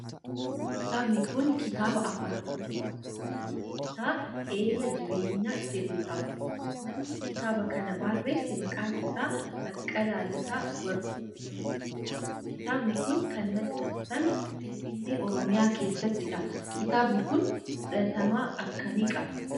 Kitaanbi kun kitaaba afaan oromoo mata dureen isaa eelaa jireenyaa jedhudha. Namni kitaaba kana barreesse maqaan isaa Baqqalaa Lataa Warquu nama jedhamudha. Kitaabni kun kan maxxanfame finfinnee oromiyaa keessattidha. Kitaabni kun fudhatama akkamii qaba?